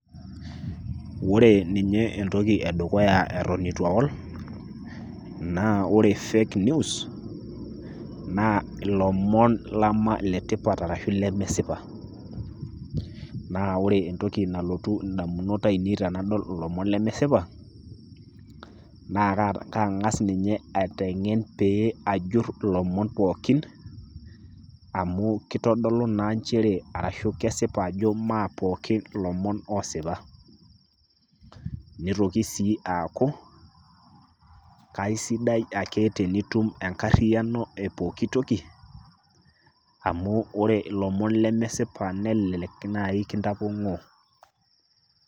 Ore ninye entoki edukuya eton itu aol, naa ore fake news, naa ilomon lama letipat arashu lemesipa. Na ore entoki nalotu indamunot ainei tenadol ilomon lemesipa, naa kang'as ninye aiteng'en pee ajur ilomon pookin, amu kitodolu naa njere arashu kesipa ajo mapookin ilomon osipa. Nitoki sii aaku, kasidai ake tenitum enkarriyiano epooki toki, amu ore ilomon lemesipa nelelek nai kintapong'oo.